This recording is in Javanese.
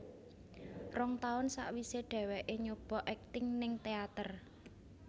Rong taun sawisé dheweké nyoba akting ning teater